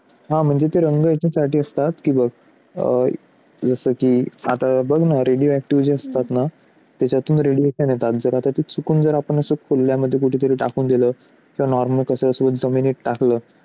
हा म्हणजे तिरंगा याच्यासाठी असतात की बघ जसं की radioactivation असतात ना त्याच्यातून radiations येतात तर आता ते चुकून जर आपण चुकल्यामुळे टाकून दिला तर जमिनीत टाकला.